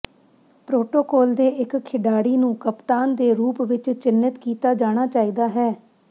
protocol ਦੇ ਇੱਕ ਖਿਡਾਰੀ ਨੂੰ ਕਪਤਾਨ ਦੇ ਰੂਪ ਵਿੱਚ ਚਿੰਨ੍ਹਿਤ ਕੀਤਾ ਜਾਣਾ ਚਾਹੀਦਾ ਹੈ